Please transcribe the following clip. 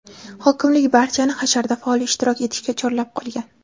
Hokimlik barchani hasharda faol ishtirok etishga chorlab qolgan.